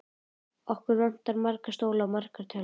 Okkur vantar marga stóla og margar tölvur.